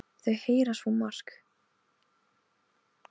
Þau heyra svo margt, greyin, sagði amma.